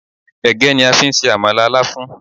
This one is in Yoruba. Ẹ̀gẹ́ ni a fi ń se àmàlà Láfún